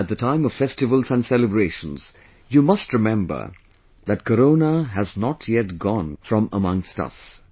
At the time of festivals and celebrations, you must remember that Corona has not yet gone from amongst us